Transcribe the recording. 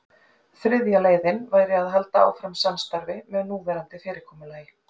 Þriðja leiðin væri að halda áfram samstarfi með núverandi fyrirkomulagi.